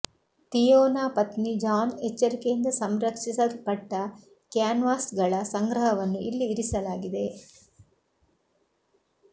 ಥಿಯೋನ ಪತ್ನಿ ಜಾನ್ ಎಚ್ಚರಿಕೆಯಿಂದ ಸಂರಕ್ಷಿಸಲ್ಪಟ್ಟ ಕ್ಯಾನ್ವಾಸ್ಗಳ ಸಂಗ್ರಹವನ್ನು ಇಲ್ಲಿ ಇರಿಸಲಾಗಿದೆ